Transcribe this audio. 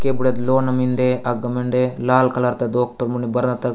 केद बुड़त लोन मिन्दे अग मंडे लाल कलर द डॉक्टर मने बरत त --